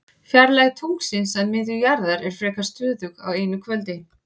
Fjarlægð tunglsins að miðju jarðar er frekar stöðug á einu kvöldi.